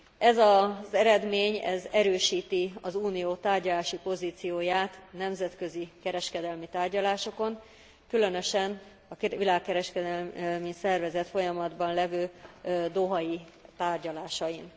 Ez az eredmény erősíti az Unió tárgyalási pozícióját nemzetközi kereskedelmi tárgyalásokon, különösen a világkereskedelmi szervezet folyamatban levő dohai tárgyalásain.